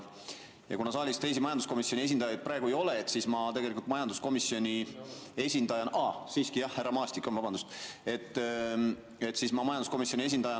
Kuna saalis teisi majanduskomisjoni esindajaid praegu ei ole, siis ma tegelikult majanduskomisjoni esindajana – aa, siiski härra Maastik on, vabandust!